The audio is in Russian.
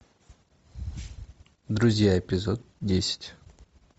друзья эпизод десять